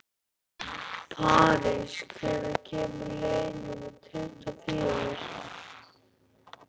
París, hvenær kemur leið númer tuttugu og fjögur?